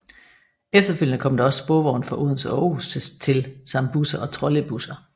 Efterfølgende kom der også sporvogne fra Odense og Aarhus til samt busser og trolleybusser